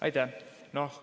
Aitäh!